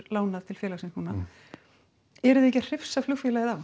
lánað til félagsins eruð þið ekki að hrifsa flugfélagið af